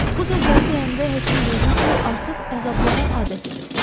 Bu sözləri deyəndə həkim duydu ki, artıq əzablara adət edib.